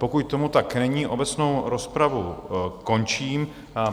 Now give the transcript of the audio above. Pokud tomu tak není, obecnou rozpravu končím.